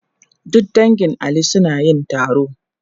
Duk dangin Ali suna yin taro.